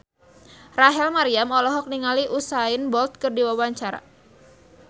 Rachel Maryam olohok ningali Usain Bolt keur diwawancara